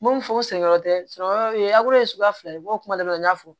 N m'o fɔ n senyɔrɔ tɛ sunɔgɔ o ye ye suguya fila ye o kuma dɔ la n y'a fɔ